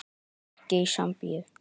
En ekki í Sambíu.